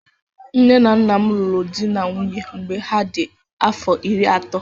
Nne na Nnam ruru dị na nwunye mgbe ha dị afọ iri atọ.